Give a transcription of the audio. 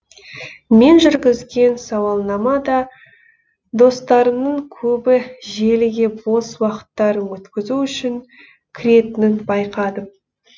мен жүргізген сауалнама да достарымның көбі желіге бос уақыттарын өткізу үшін кіретінін байқадым